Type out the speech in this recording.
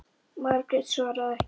Margrét svaraði ekki.